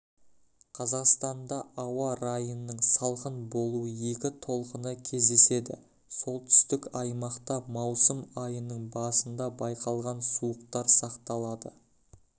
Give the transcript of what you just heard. қазақстанда ауа райының салқын болу екі толқыны кездеседі солтүстік аймақта маусым айының басында байқалған суықтар сақталады